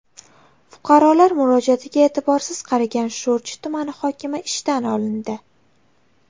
Fuqarolar murojaatiga e’tiborsiz qaragan Sho‘rchi tumani hokimi ishdan olindi.